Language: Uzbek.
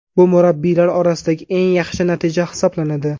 Bu murabbiylar orasidagi eng yaxshi natija hisoblanadi.